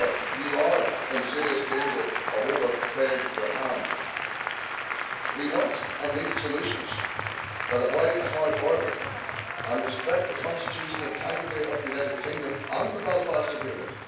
You are in serious danger of overplaying your hand. We want and need solutions that avoid a hard border and respect the constitutional integrity of the United Kingdom and the Belfast Agreement.